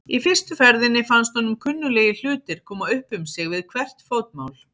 Í fyrstu ferðinni fannst honum kunnuglegir hlutir koma upp um sig við hvert fótmál.